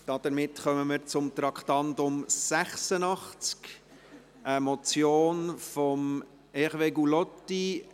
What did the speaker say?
Wir kommen zum Traktandum 86, einer Motion von Hervé Gullotti.